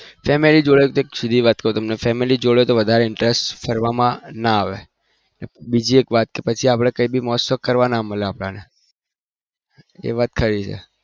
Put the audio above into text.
family જોડે એક સીધી વાત interest ફરવા ના મળે બીજી એક વાત કે પછી કોઈ મોજ શોક કરવા ના મળ એ વાત ખરી છે